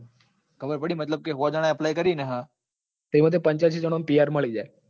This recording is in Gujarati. ખબર પડી કે ને મતલબ સો જણા એ apply કરી ને હા તો એમાં થી પંચ્યાસી જણા ને પીર મળી જાય.